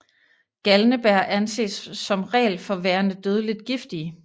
Galnebær anses som regel for værende dødeligt giftige